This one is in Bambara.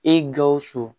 E gawusu